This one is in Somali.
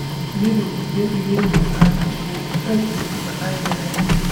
Midho babaygu aad buu u macaan yahay.